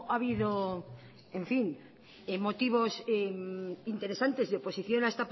habido motivos interesantes y oposición a